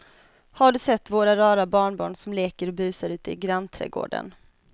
Har du sett våra rara barnbarn som leker och busar ute i grannträdgården!